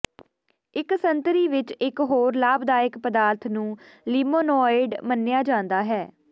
ਇਕ ਸੰਤਰੀ ਵਿਚ ਇਕ ਹੋਰ ਲਾਭਦਾਇਕ ਪਦਾਰਥ ਨੂੰ ਲਿਮੋਨੋਇਡ ਮੰਨਿਆ ਜਾਂਦਾ ਹੈ